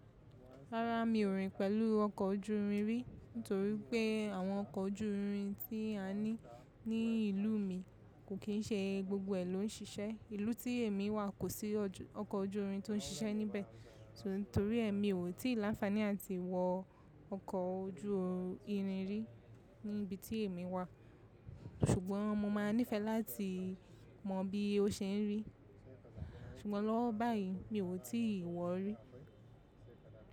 Rárá, mi ò rìn pẹ̀lú ọkọ̀ ojú irin rí. Nítorí pé àwọn ọkọ̀ ojú irin tí a ní ní ìlú mi kò kìí ṣe gbogbo ẹ̀ ló ń ṣíṣẹ́. Ìlú tí èmi wà kò sí ọkọ̀ ojú irin tó ń ṣíṣẹ́ níbẹ̀. Torí èmi ò tí ì láfání à ti wọ ọkọ̀ ojú irin rí ní ibi tí èmi wà. Ṣùgbọ́n mo máa nífẹẹ láti mọ bí ó ṣe ń rí. Ṣùgbọ́n lọ́wọ́ báyìí mi ò tí ì wọ rí.